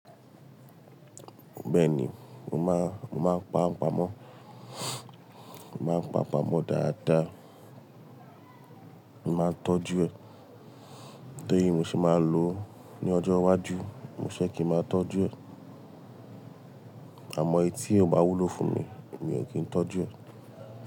Bẹ́ẹ̀ ni, mo máa, mo máa pa pamọ́, mo máa ń pa pamọ́ dáadáa, mo máa ń tọ́jú ẹ̀, tó rì mo sì máa lò ó ní ọjọ́ iwájú, mo ṣẹ́ kí ń máa tọ́jú ẹ̀. Àmọ́ ẹyii ti o bá wúlò fún mi, mi ò kí ń tọ́jú ẹ̀